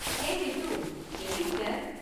Hey Ritu, எப்படி இருக்க?